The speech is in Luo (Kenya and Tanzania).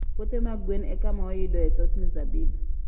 Puothe mag gwen e kama wayudoe thoth mzabibu.